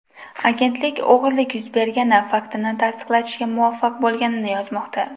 Agentlik o‘g‘irlik yuz bergani faktini tasdiqlatishga muvaffaq bo‘lganini yozmoqda.